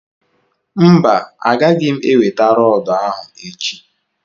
mba, Agaghị m enweta rọọdụ ahụ echi